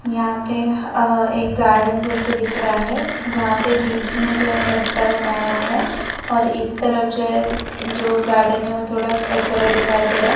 यहां पे अह एक गार्डन जैसे दिख रहा है जहाँ पर बीच में जो है रस्ता बनाया है और इस तरफ जो है जो गार्डन है वो थोड़ा कचरा दिखाई दे रहा है।